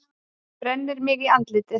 Brennir mig í andlitið.